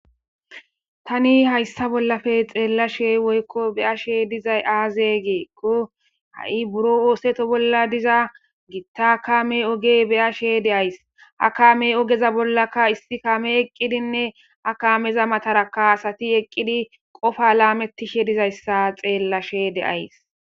Tani hayssa bollappe xellashe woyiko beyashe dizayi aze gikko ha'i buro oththeto bolla dizza gitta kamme ogge be'ashe de'ayissi ha kamme oggeza bollaka issi kammeyi eqqidinne ha kammeza matarakka asati eqqidi qopa lametishe dizzayisa xellashe de'ayis.